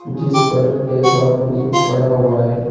जिस पर एक आदमी पड़ा हुआ है।